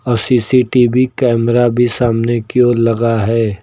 और CCTV camera भी सामने की ओर लगा है।